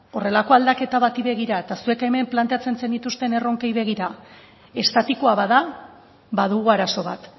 horrelako aldaketa bati begira eta zuek hemen planteatzen zenituzten erronkei begira estatikoa bada badugu arazo bat